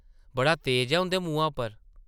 बड़ा तेज ऐ, उंʼदे मुहां पर ।